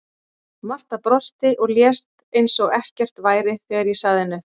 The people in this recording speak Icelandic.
Marta brosti og lét eins og ekkert væri þegar ég sagði henni upp.